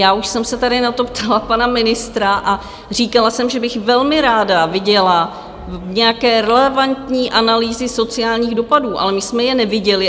Já už jsem se tady na to ptala pana ministra a říkala jsem, že bych velmi ráda viděla nějaké relevantní analýzy sociálních dopadů, ale my jsme je neviděli.